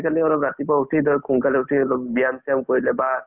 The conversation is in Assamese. আজিকালি অলপ ৰাতিপুৱা উঠি ধৰা সোনকালে উঠি অলপ ব্যায়াম-চ্যায়াম কৰিলে বা